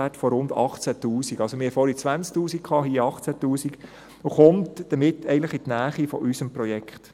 Wir hatten vorhin 20 000 Franken, hier 18 000 Franken, und das kommt damit eigentlich in die Nähe unseres Projekts.